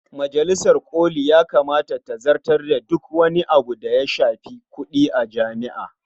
Majalisar ƙoli ya kamata ta zartar da duk wani abu da ya shafi kuɗi a jami'a.